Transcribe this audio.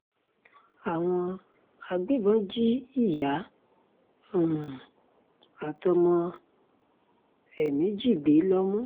um àwọn agbébọn jí ìyá um àtọmọ ẹ̀ méjì gbé lómù